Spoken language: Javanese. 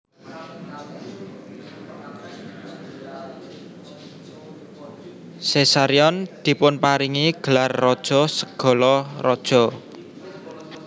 Caesarion dipunparingi gelar Raja segala Raja